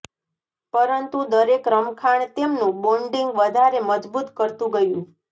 પરંતુ દરેક રમખાણ તેમનું બોન્ડિંગ વધારે મજબૂત કરતું ગયું